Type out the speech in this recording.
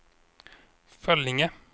Föllinge